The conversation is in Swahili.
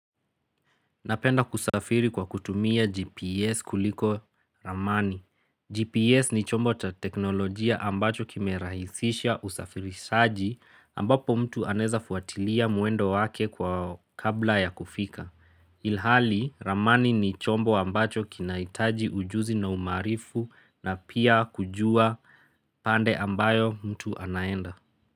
Napenda kusafiri kwa kutumia GPS kuliko ramani. GPS ni chombo ta teknolojia ambacho kimerahisisha usafiri saji ambapo mtu anaeza fuatilia mwendo wake kwa kabla ya kufika. Ilhali, ramani ni chombo ambacho kinahitaji ujuzi na umaarifu na pia kujua pande ambayo mtu anaenda.